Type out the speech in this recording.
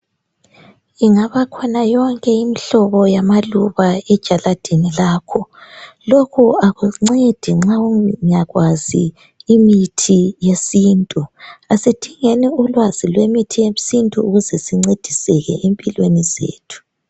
Ingaba khona yonke imihlobo yamaluba ejaladini lakho. Lokhu akuncedi nxa ungakwazi imithi yesintu. Asidingeni ulwazi lwe mithi yesintu ukuze sincediseke empilweni zethu.